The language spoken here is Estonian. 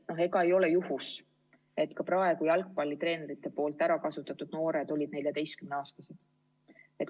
Ega ei ole juhus, et jalgpallitreenerite poolt ärakasutatud noored olid 14-aastased.